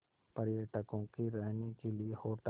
पर्यटकों के रहने के लिए होटल